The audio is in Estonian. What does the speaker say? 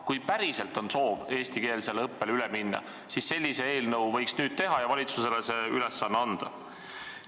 Kui päriselt on soov minna üle eestikeelsele õppele, siis sellise eelnõu võiks nüüd teha ja valitsusele see ülesanne anda.